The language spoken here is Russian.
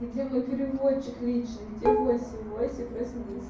где мой переводчик личный где вася вася проснись